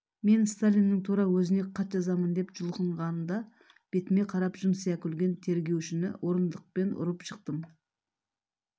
мен сталиннің тура өзіне хат жазамын деп жұлқынғанда бетіме қарап жымсия күлген тергеушіні орындықпен ұрып жықтым